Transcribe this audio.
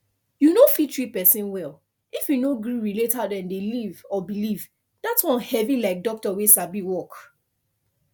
you no fit treat person well if you no gree relate how dem dey live or believe that one heavy like doctor wey sabi work